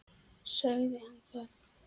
Sagði hann það?